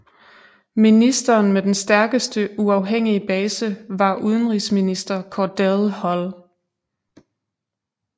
Ministeren med den stærkeste uafhængige base var udenrigsminister Cordell Hull